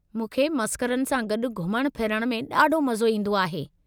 मूंखे मसख़रनि सां गॾु घुमण फिरण में ॾाढो मज़ो ईंदो आहे।